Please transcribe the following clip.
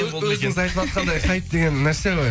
өзіңіз айтыватқандай хайп деген нәрсе ғой